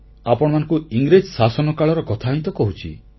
ଆପଣମାନଙ୍କୁ ଇଂରେଜ ଶାସନକାଳର କଥା ହିଁ ତ କହୁଛି